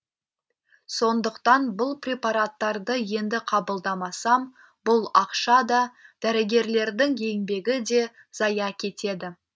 сондықтан бұл препараттарды енді қабылдамасам бұл ақша да дәрігерлердің еңбегі де зая кетеді